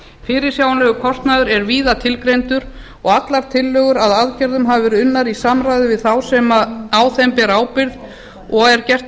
fyrirsjáanlegur kostnaður er víða tilgreindur og allar tillögur að aðgerðum hafa verið unnar í samráði við þá sem á þeim bera ábyrgð og er gert